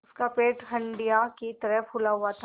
उसका पेट हंडिया की तरह फूला हुआ था